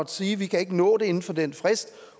sige vi kan ikke nå det inden for den frist